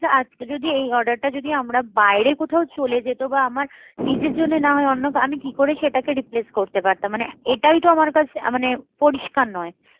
আজকে যদি এই order টা যদি আমরা বাইরে কোথাও চলে যেত বা আমার নিজের জন্য না হয়ে অন্য আমি কি করে সেটাকে replace করতে পারতাম মানে এটাইতো আমার কাছে মানে পরিষ্কার নয়